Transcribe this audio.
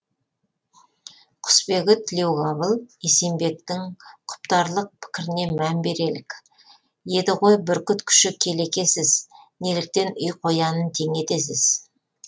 құсбегі тілеуқабыл есенбектің құптарлық пікіріне мән берелік еді ғой бүркіт күші келекесіз неліктен үй қоянын тең етесіз